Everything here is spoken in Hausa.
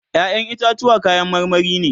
ƴaƴan itatuwa kayan marmari ne